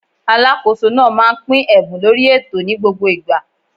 Alákóso náà máà ń pín ẹ̀bùn lórí ètò ni gbogbo igba